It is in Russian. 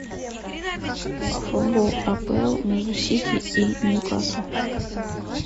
футбол апл между сити и ньюкасл